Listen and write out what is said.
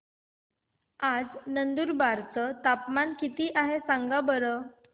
आज नंदुरबार चं तापमान किती आहे सांगा बरं